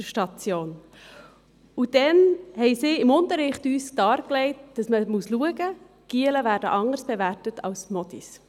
Dort hat man uns im Unterricht dargelegt, dass man darauf achten soll, wie Knaben anders beurteilt werden als Mädchen.